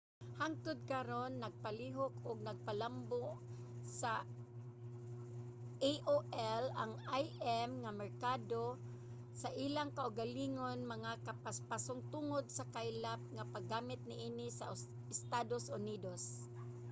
hangtud karon napalihok ug napalambo sa aol ang im nga merkado sa ilang kaugalingon nga kapaspason tungod sa kaylap nga paggamit niini sa estados unidos